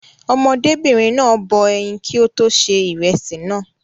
Ọmọdébìnrin náà bọ ẹyin kí ó tó ṣe ìrẹsì náà.